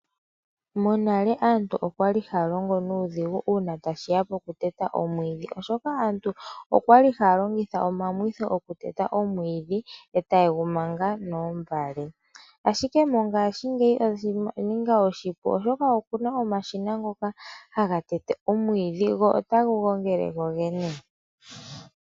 Konale aantu okwali halongo nuudhigu una tashiya pokuteta omwiidhi. Oshoka aantu okwali haya longitha omamwitho okuteta omwiidhi etaye gumanga noombale .Ashike mongaashingeyi iilonga oyaninga iipu oshoka opuna omashina ngoka taga tete omwiidhi go otaga gongele gogene.